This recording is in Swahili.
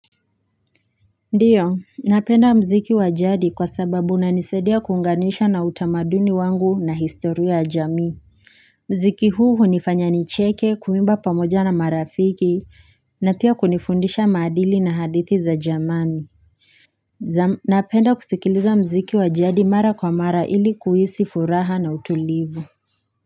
Ndiyo, napenda mziki wajadi kwa sababu unanisaidia kuunganisha na utamaduni wangu na historia ya jamii. Mziki huu hunifanya nicheke, kuimba pamoja na marafiki, na pia kunifundisha madili na hadithi za zamani. Napenda kusikiliza mziki wajadi mara kwa mara ili kuhisi furaha na utulivu.